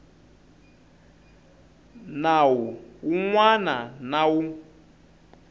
nawu wun wana na wun